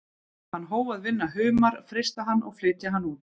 Hann hóf að vinna humar, frysta hann og flytja hann út.